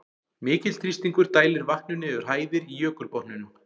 Mikill þrýstingur dælir vatninu yfir hæðir í jökulbotninum.